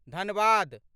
Dhanbad